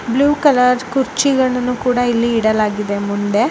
Blue colour ಕುರ್ಚಿಗಳನ್ನು ಕೂಡ ಇಡಲಾಗಿದೆ. ಇಲ್ಲಿ ಮುಂದೆ